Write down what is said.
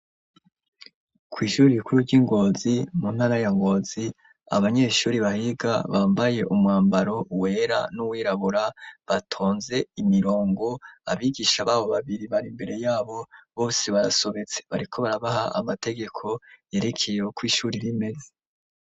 Kw'ishuri rikuru ry'i Ngozi, mu ntara ya Ngozi, abanyeshuri bahiga, bambaye umwambaro wera n'uwirabura, batonze imirongo; abigisha babo babiri, bari imbere yabo, bose barasobetse; bariko barabaha amategeko yerekeye uko ishuri rimeze.